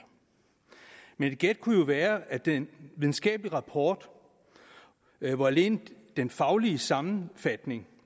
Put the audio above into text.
men et gæt kunne jo være at den videnskabelige rapport hvor alene den faglige sammenfatning